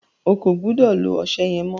O kò gbúdọ̀ lo ọṣẹ yẹn mọ́!